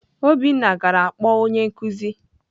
Obinna gara kpọọ onye nkuzi.